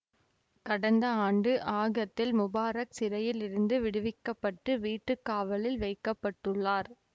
கடந்த ஆண்டு ஆகத்தில் முபாரக் சிறையில் இருந்து விடுவிக்க பட்டு வீட்டு காவலில் வைக்க பட்டுள்ளார்